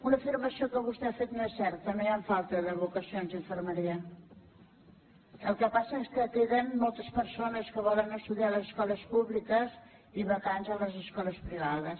una afirmació que vostè ha fet no és certa no hi ha falta de vocacions d’infermeria el que passa és que queden moltes persones que volen estudiar a les escoles públiques i vacants a les escoles privades